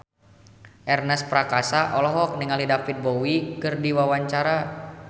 Ernest Prakasa olohok ningali David Bowie keur diwawancara